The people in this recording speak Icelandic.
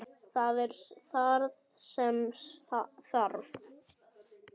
Það er það sem þarf.